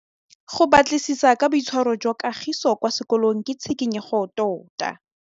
Go batlisisa ka boitshwaro jwa Kagiso kwa sekolong ke tshikinyêgô tota.